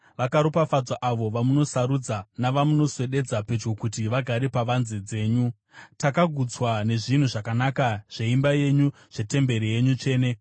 Vakaropafadzwa avo vamunosarudza navamunoswededza pedyo kuti vagare pavanze dzenyu! Takagutswa nezvinhu zvakanaka zveimba yenyu, zvetemberi yenyu tsvene.